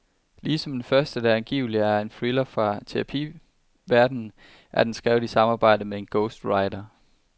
Ligesom den første, der angiveligt er en thriller fra terapiverdenen, er den skrevet i samarbejde med en ghostwriter.